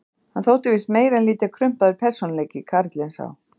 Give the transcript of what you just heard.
Hann þótti víst meir en lítið krumpaður persónuleiki, karlinn sá.